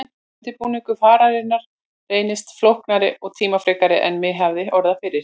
Undirbúningur fararinnar reyndist flóknari og tímafrekari en mig hafði órað fyrir.